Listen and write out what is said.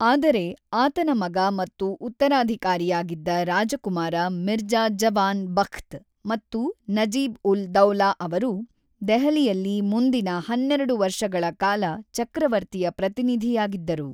ಆದರೆ ಆತನ ಮಗ ಮತ್ತು ಉತ್ತರಾಧಿಕಾರಿಯಾಗಿದ್ದ ರಾಜಕುಮಾರ ಮಿರ್ಜಾ ಜವಾನ್ ಬಖ್ತ್ ಮತ್ತು ನಜೀಬ್-ಉಲ್-ದೌಲಾ ಅವರು ದೆಹಲಿಯಲ್ಲಿ ಮುಂದಿನ ಹನ್ನೆರಡು ವರ್ಷಗಳ ಕಾಲ ಚಕ್ರವರ್ತಿಯ ಪ್ರತಿನಿಧಿಯಾಗಿದ್ದರು.